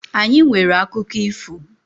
Anyi nwere akụkụ ifo.